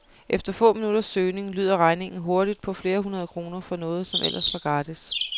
Efter få minutters søgning lyder regningen hurtigt på flere hundrede kroner for noget, som ellers var gratis.